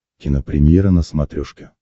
кинопремьера на смотрешке